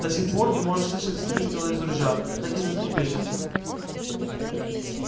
до сих пор не может слышать выстрела из ружья так и затрепещется